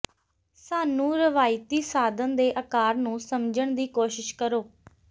ਸਾਨੂੰ ਰਵਾਇਤੀ ਸਾਧਨ ਦੇ ਆਕਾਰ ਨੂੰ ਸਮਝਣ ਦੀ ਕੋਸ਼ਿਸ਼ ਕਰੋ